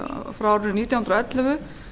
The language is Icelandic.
frá árinu nítján hundruð og ellefu